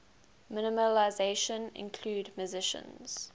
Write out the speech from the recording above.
minimalism include musicians